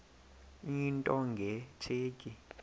into nge tsheki